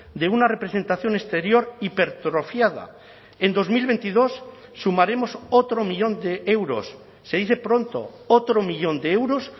de una representación exterior hipertrofiada en dos mil veintidós sumaremos otro millón de euros se dice pronto otro millón de euros